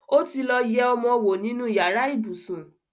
otilo yé ọmọ owó nínú yàrá. ibusùn